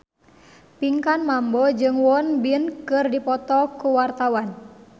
Pinkan Mambo jeung Won Bin keur dipoto ku wartawan